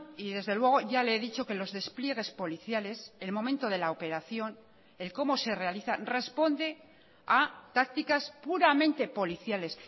y desde luego ya le he dicho que los despliegues policiales el momento de la operación el cómo se realiza responde a tácticas puramente policiales